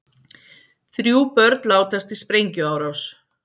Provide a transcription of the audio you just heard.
Þrjú börn látast í sprengjuárás